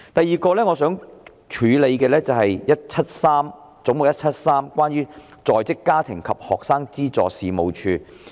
此外，我想處理的是"總目 173—— 在職家庭及學生資助事務處"。